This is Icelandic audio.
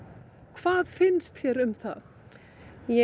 hvað finnst þér um það ég